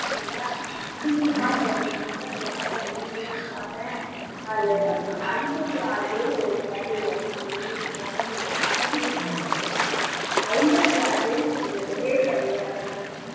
பார்த்தேன் இன்னைக்கு ஒண்ணு பார்த்தேன் அதிலே ஐம்பத்தி ஆறு பேர் ஒரு family ல இருக்காங்க இன்னைக்கு பார்த்ததுல news ல பார்த்ததுல ஐம்பத்தி ஆறு பேர் ஒரே family ஆ இருக்கறாங்க